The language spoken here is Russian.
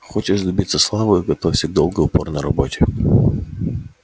хочешь добиться славы готовься к долгой упорной работе